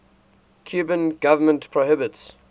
cuban government prohibits